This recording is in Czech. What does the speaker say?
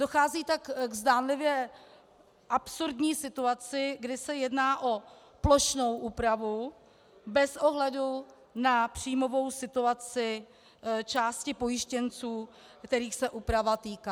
Dochází tak k zdánlivě absurdní situaci, kdy se jedná o plošnou úpravu bez ohledu na příjmovou situaci části pojištěnců, kterých se úprava týká...